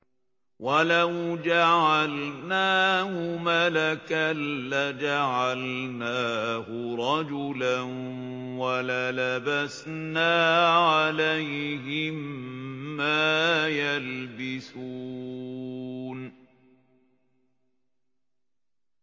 وَلَوْ جَعَلْنَاهُ مَلَكًا لَّجَعَلْنَاهُ رَجُلًا وَلَلَبَسْنَا عَلَيْهِم مَّا يَلْبِسُونَ